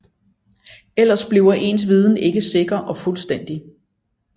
Ellers bliver ens viden ikke sikker og fuldstændig